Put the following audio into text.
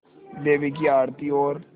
देवी की आरती और